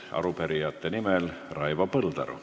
Arupärijate nimel Raivo Põldaru.